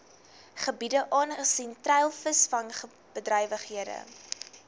gebiede aangesien treilvisvangbedrywighede